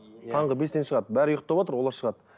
таңғы бестен шығады бәрі ұйықтаватыр олар шығады